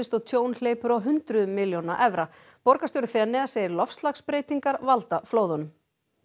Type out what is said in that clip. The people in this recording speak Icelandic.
og tjón hleypur á hundruðum milljóna evra borgarstjóri Feneyja segir loftslagsbreytingar valda flóðunum